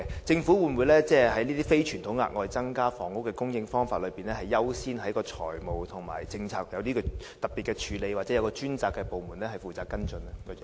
政府會否就這些非傳統的額外增加房屋供應的方法，優先在財務和政策上作出特別的處理，又或交由專責部門跟進？